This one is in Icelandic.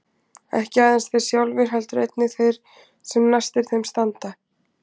Ekki aðeins þeir sjálfir heldur einnig þeir sem næstir þeim standa.